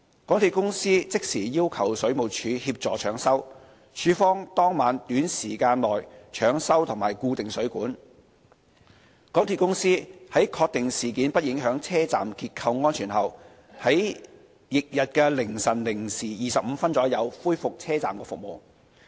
港鐵公司即時要求水務署協助搶修，署方當晚短時間內搶修及固定水管；港鐵公司在確定事件不影響車站結構安全後，於翌日凌晨零時25分左右恢復車站服務。